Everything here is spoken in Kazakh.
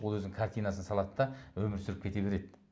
ол өзінің картинасын салады да өмір сүріп кете береді